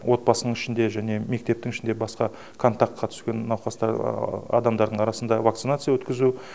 отбасының ішінде және мектептің ішінде басқа контактқа түскен адамдардың арасында вакцинация өткізу